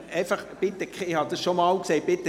Ich habe es schon einmal gesagt: